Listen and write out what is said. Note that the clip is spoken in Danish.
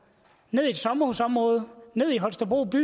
ned i et sommerhusområde ned i holstebro by